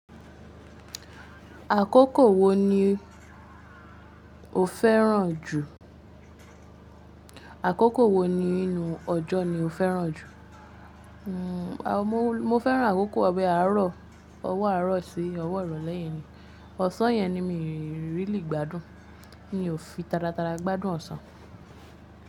Àkókò wo ní o féràn jù? Àkókò wo nínú ọjọ́ ni o féràn jù? Mo féràn àkókò ọbẹ àárọ̀. Ọwọ́ àárọ̀ sí ọwọ́ irọ̀ lẹ́yen ni. Ọ̀sán yẹn ni mí rí lì gbádùn. Mi ò fi taratara gbádùn ọ̀sán.